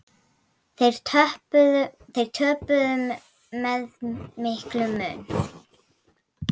Þeir töpuðu með miklum mun.